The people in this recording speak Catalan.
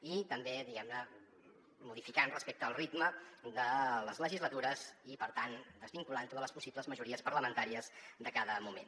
i també diguem ne modificant ho respecte al ritme de les legislatures i per tant desvinculant ho de les possibles majories parlamentàries de cada moment